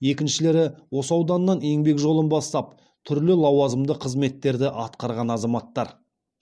екіншілері осы ауданнан еңбек жолын бастап түрлі лауазымды қызметтерді атқарған азаматтар